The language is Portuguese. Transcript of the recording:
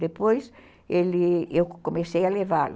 Depois, ele... comecei a levá-lo.